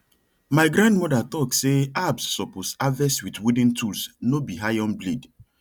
my grandmother talk say herbs suppose harvest with wooden tools no be iron blade